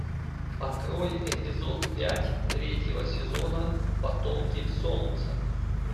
открой эпизод пять третьего сезона потомки солнца